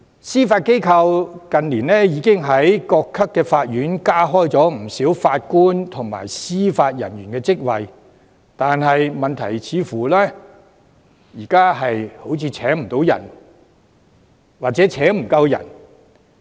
司法機構近年已經在各級法院加開了不少法官及司法人員的職位，但現時問題似乎是請不到人或請不夠人。